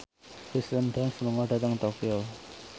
Kirsten Dunst lunga dhateng Tokyo